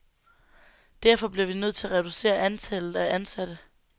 Derfor bliver vi nødt til at reducere antallet af ansatte.